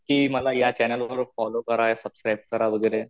कि मला या चॅनेल वर फोल्लोव करा, सुबस्क्रिब करा वगैरे.